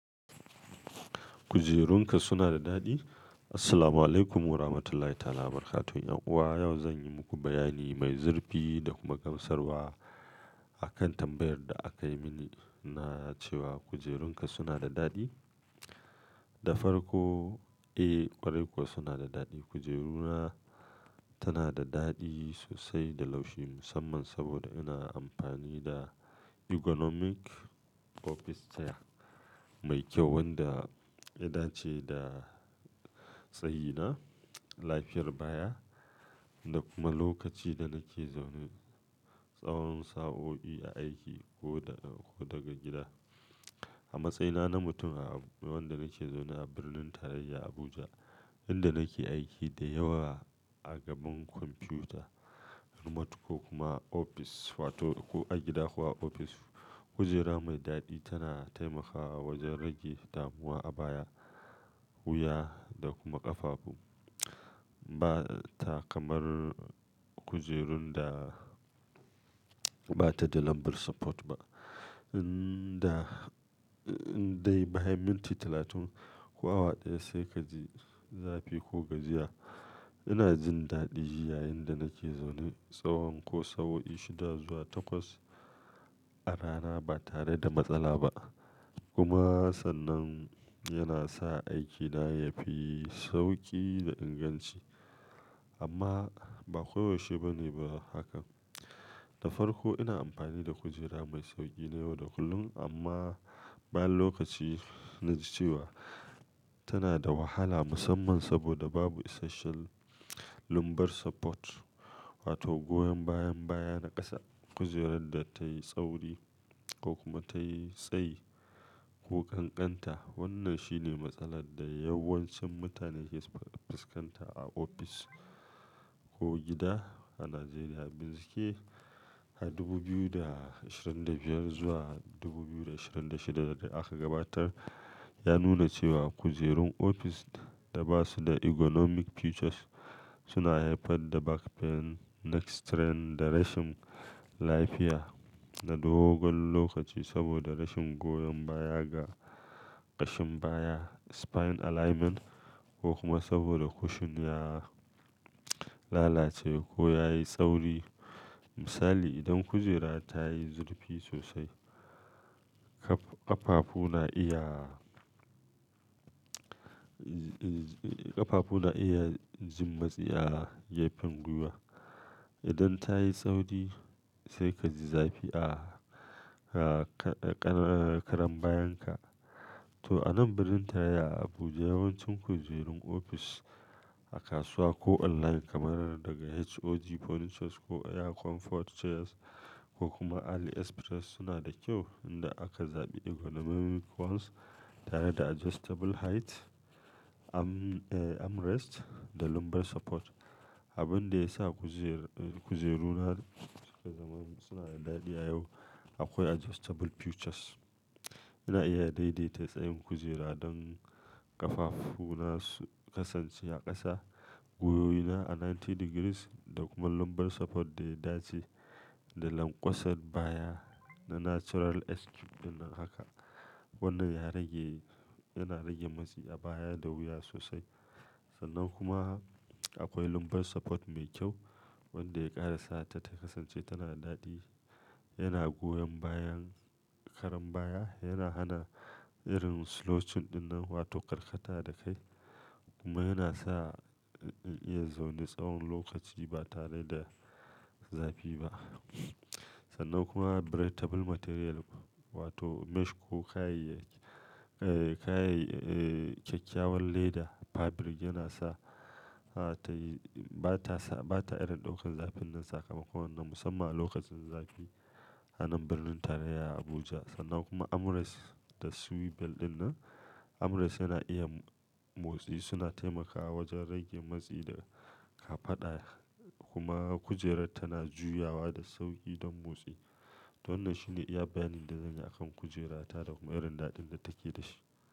Kujerunka suna da daɗi? Assalamualaikum warahmatullahi wabarakatuh. 'Yan uwa, yau zan yi muku bayani mai zurfi da kuma gamsarwa a kan tambayar da aka yi mini na cewa kujerunka suna da daɗi? Da farko, eh ƙwarai kuwa suna da daɗi. Kujeru na tana da daɗi sosai da laushi musamman saboda ina amfani da ergonomic office chair mai kyau wanda yana dace da tsayi na, lafiyar baya da kuma lokaci da nake zaune. Tsawon sa'o'i a aiki ko daga gida. A matsayina na mutum wanda nake zaune a birnin tarayya Abuja, inda nake aiki da yawa a gaban kwamfuta, remote ko kuma ofis wato ko a gida ko a ofis, kujera mai daɗi tana taimakawa wajen rage damuwa a baya, wuya da kuma ƙafafu. Ba ta kamar kujerun da ba ta da lumbar support ba inda dai bayan minti talatin ko awa ɗaya sai ka ji zafi ko gajiya. Ina jin daɗi yayinda nake zaune tsawon ko sa'o'i shida zuwa takwas a rana ba tare da matsala ba. Kuma sannan yana sa aikina yafi sauƙi da inganci. Amma ba koyaushe bane haka. Da farko ina amfani da kujera mai sauƙi da yawa da kullum amma bayan lokaci na ji cewa tana da wahala musamman saboda babu essential lumbar support wato goyon bayan baya na ƙasa. Kujerar da tayi tsauri ko kuma tayi tsayi ko kankanta. Wannan shine matsalar da yawancin mutane ke fuskanta a ofis ko gida a Najeriya. Bincike a dubu biyu da ashirin da biyar zuwa dubu biyu da ashirin da shida da aka gabatar ya nuna cewa kujerun ofis da ba su da ergonomic features suna haifar da back pain, neck strain da rashin lafiya na dogon lokaci saboda rashin goyon baya ga ƙashin baya, spine alignment ko kuma saboda cushion ya lalace ko yayi tsauri. Misali, idan kujera ta yi zurfi sosai, ƙafafu na iya, ƙafafu na iya jin matsi a gefen gwiwa. Idan ta yi tsauri sai ka ji zafi a karan bayan ka. To a nan birnin tarayya Abuja yawancin kujerun ofis a kasuwa ko online kamar daga Hoj Furniture ko Air Comfort Chairs ko kuma AliExpress suna da kyau inda aka zaɓi ergonomic ones tare da adjustable height, armrest da lumbar support. Abin da ya sa kujeru na suna da daɗi a yau akwai adjustable features. Ina iya daidaita tsayin kujera don ƙafafu na su kasance a ƙasa, gwiwoyi na a casa'in degrees da kuma lumbar support da ya dace da lankwasar baya na natural "S-curve” dinnan haka. Wannan yana rage matsi a baya da wuya sosai. Sannan kuma akwai lumbar support mai kyau wanda ya ƙara sa ta kasance tana da daɗi. Yana goyon bayan karan baya, yana hana irin slouching dinnan wato karkata da kai kuma yana sa in iya zaune tsawon lokaci ba tare da zafi ba. Sannan kuma breathable material wato mesh ko kayayyakin kyakkyawan leather fabric yana sa ba ta irin ɗaukan zafin nan sakamakon nan musamman a lokacin zafi a nan birnin tarayya Abuja. Sannan kuma armrests da swivel dinnan. Armrests yana iya motsi suna taimakawa wajen rage matsi da ka faɗa kuma kujerar tana juyawa da sauƙi don motsi. To wannan shine iya bayanin da zan yi a kan kujera ta da kuma irin daɗin da take da shi.